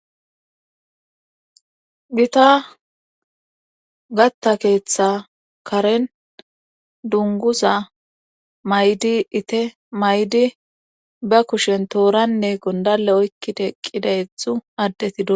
Gita gatta keetha karen dungguza mayida ite mayide ba kushen tooranne gonddalle oyqqida ethu addeti